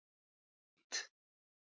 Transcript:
Ég veit!